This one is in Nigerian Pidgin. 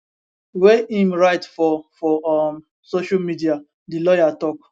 wey im write for for um social media di lawyer tok